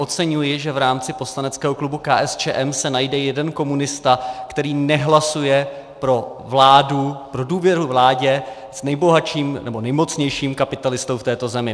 Oceňuji, že v rámci poslaneckého klubu KSČM se najde jeden komunista, který nehlasuje pro vládu, pro důvěru vládě s nejbohatším nebo nejmocnějším kapitalistou v této zemi.